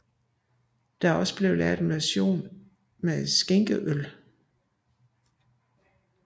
Der er også lavet en version med sænkekøl